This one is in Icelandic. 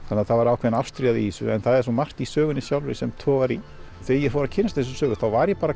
þannig að það var ákveðin ástríða í þessum en það var svo margt í sögunni sjálfri sem togar í þegar ég fór að kynnast þessari sögu þá var ég